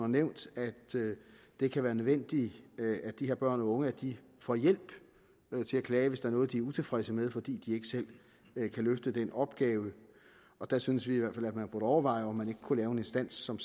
nævnt at det kan være nødvendigt at de her børn og unge får hjælp til at klage hvis der er noget de er utilfredse med fordi de ikke selv kan løfte den opgave der synes vi i hvert fald at man burde overveje om man ikke kunne lave en instans som